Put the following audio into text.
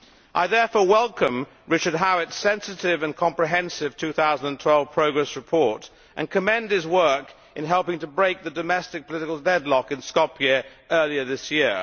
I therefore welcome Richard Hewitt's sensitive and comprehensive 2012 progress report and commend his work in helping to break the domestic political deadlock in Skopje earlier this year.